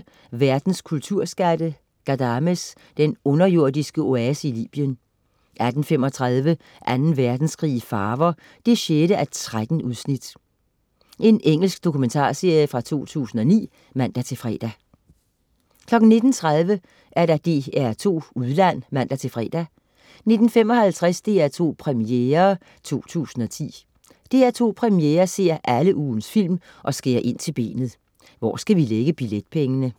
18.20 Verdens kulturskatteGhadames, den underjordiske oase i Libyen 18.35 Anden Verdenskrig i farver. 6:13. Engelsk dokumentarserie fra 2009 (man-fre) 19.30 DR2 Udland (man-fre) 19.55 DR2 Premiere 2010. DR2 Premiere ser alle ugens film og skærer ind til benet: Hvor skal vi lægge billetpengene?